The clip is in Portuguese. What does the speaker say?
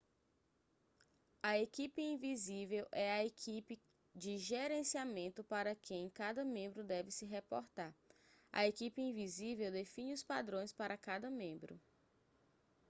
a equipe invisível é a equipe de gerenciamento para quem cada membro deve se reportar a equipe invisível define os padrões para cada membro